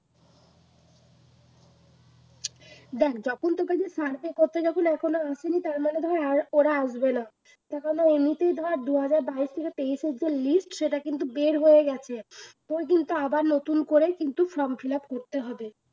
দেখ যখন তোর কাছে survey করতে যখন এখনো আসেনি তার মানে ধর ওরা আসবেনা এমনিতেই ধর দু হাজার বাইশ থেকে তেইশ এর যে list সেটা কিন্তু বের হয়ে গেছে তোর কিন্তু আবার নতুন করেই কিন্তু from fill up করতে হবে